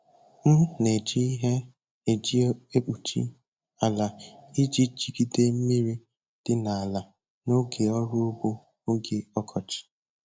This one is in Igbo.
M na-eji ihe e ji ekpuchi ala iji jigide mmiri dị n'ala n'oge ọrụ ugbo oge ọkọchị.